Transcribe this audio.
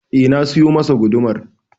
Eh na siyo masa gudumar.